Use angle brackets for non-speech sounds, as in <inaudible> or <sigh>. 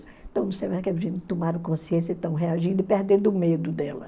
Então, não sei mais <unintelligible> tomaram consciência e estão reagindo e perdendo o medo dela.